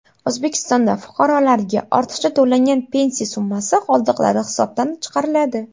O‘zbekistonda fuqarolarga ortiqcha to‘langan pensiya summasi qoldiqlari hisobdan chiqariladi.